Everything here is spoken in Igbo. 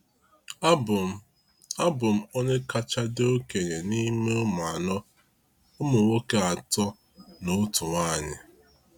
Abụ m Abụ m onye kacha dị okenye n’ime ụmụ anọ — ụmụ nwoke atọ na otu nwaanyị.